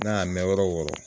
N'a y'a mɛn yɔrɔ yɔɔrɔ